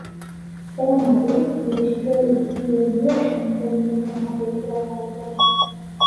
Eton ake ereshitoi oltururr le biotisho metolimu tenaa ketii korona Uganda.